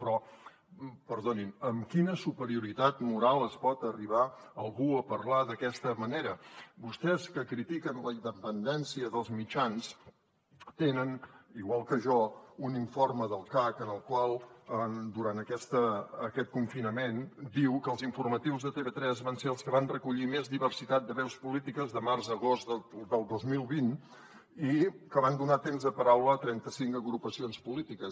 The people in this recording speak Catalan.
però perdonin amb quina superioritat moral pot arribar algú a parlar d’aquesta manera vostès que critiquen la independència dels mitjans tenen igual que jo un informe del cac en el qual durant aquest confinament diu que els informatius de tv3 van ser els que van recollir més diversitat de veus polítiques de març a agost del dos mil vint i que van donar temps de paraula a trenta cinc agrupacions polítiques